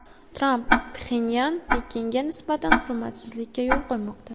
Tramp: Pxenyan Pekinga nisbatan hurmatsizlikka yo‘l qo‘ymoqda.